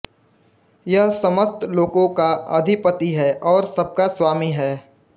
यह समस्त लोकों का अधिपति है और सबका स्वामी है